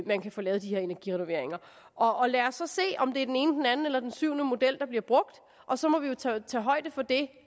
man kan få lavet de her energirenoveringer og lad os så se om det er den ene den anden eller den syvende model der bliver brugt og så må vi jo tage højde for det